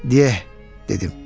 Dieh, dedim.